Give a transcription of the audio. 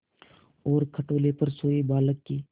और खटोले पर सोए बालक की